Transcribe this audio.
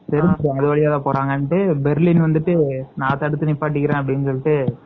எதுக்கு டனல் வழியா போறாங்க பெர்லின் வந்துட்டு நான் வந்துட்டு தடுத்து நிறுத்திக்கிறேன்